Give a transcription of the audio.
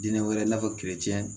Dinɛ wɛrɛ i n'a fɔ